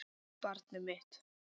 Barnið mitt.